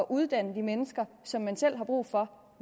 uddanne de mennesker som man selv har brug for